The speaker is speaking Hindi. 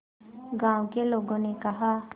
गांव के लोगों ने कहा